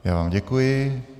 Já vám děkuji.